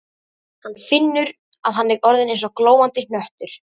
Hann finnur að hann er orðinn eins og glóandi hnöttur.